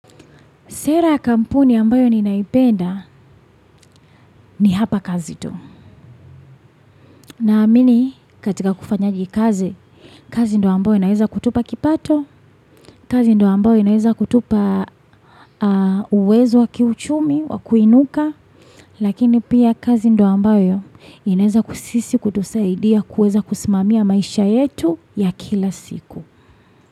Sera kampuni ambayo ninaipenda ni hapa kazi tu. Na amini katika kufanyaji kazi, kazi ndo ambayo inaeza kutupa kipato, kazi ndo ambayo inaeza kutupa uwezo wakiuchumi, wakuinuka, lakini pia kazi ndo ambayo inaeza kusisi kutusaidia kueza kusimamia maisha yetu ya kila siku.